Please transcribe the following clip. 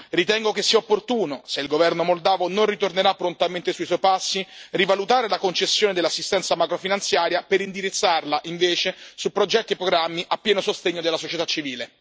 Ritengo che sia opportuno, se il governo moldavo non ritornerà prontamente sui suoi passi, rivalutare la concessione dell'assistenza macrofinanziaria per indirizzarla invece su progetti e programmi a pieno sostegno della società civile.